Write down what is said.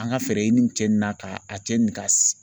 An ka fɛɛrɛ ɲini cɛ ni na ka a cɛ ni ka